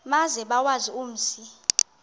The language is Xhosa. maze bawazi umzi